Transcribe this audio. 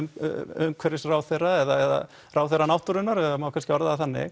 umhverfisráðherra eða ráðherra náttúrunnar það má kannski orða það þannig